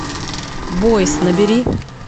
бойс набери